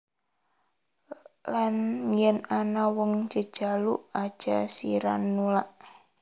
Lan yen ana wong jejaluk aja sira nulak